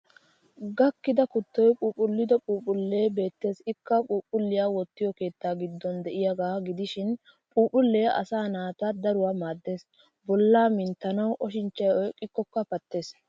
Gakkida kuttoy phuuphphullido phuuphphullee beettes ikka phuuphulliya wottiyo keettaa giddon de'iyaagaa gidishin. Phuuphullee asaa naata daruwaa maaddes bollaa minntanawu, oshinchchay oyqqikkokka pattes.